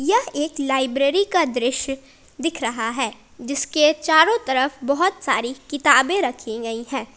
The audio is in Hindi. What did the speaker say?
यह एक लाइब्रेरी का दृश्य दिख रहा है जिसके चारों तरफ बहुत सारी किताबें रखी गई है।